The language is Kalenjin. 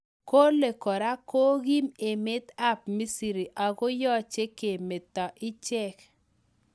Kole kora kokiim emet AP misri Ako yache kemeta ichek